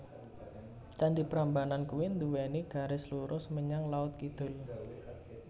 Candi Prambanan kui nduweni garis lurus menyang laut kidul